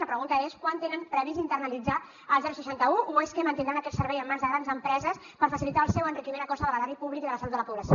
la pregunta és quan tenen previst internalitzar el seixanta un o és que mantindran aquest servei en mans de grans empreses per facilitar el seu enriquiment a costa de l’erari públic i de la salut de la població